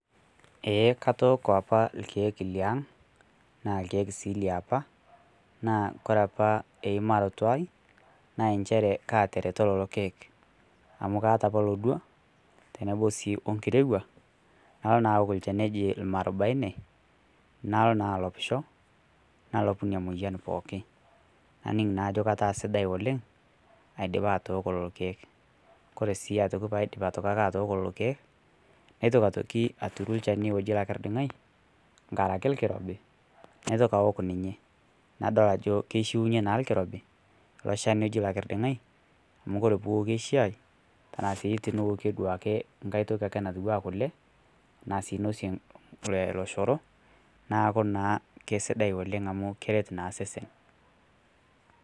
Eeh katooko apa irkiek liang naa irkiek sii liapa. Naa kore apa imaroto ai naa encheere kateroto lolo irkiek amu kaata apa lodua tenebo sii okirewuaj. Naloo naa aook olchaani ejii maarubaine naloo naa aloopisho naloopu nenia moyian pooki. Naniing' naa ajoo ketaa sidai oleng aidipa atooko lolo irkiek. Kore sii atooki paa idiipa aitokik ake atooko lolo irkiek naitoki aitoki atuuru lchaani ojii laikirding'ai ng'araki ilkirobii naitooki aook ninye. Nadool ajo keishuiye naa lkiirobi loo lshaani oji laikirding'ai amu kore pee ookie shaai tana sii niokie duake nkaai tooki ake natiwua kulee ana sii inoosie looshoroo. Naaku naa kesidai oleng amu kereet naa sesen.